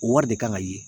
O wari de kan ka ye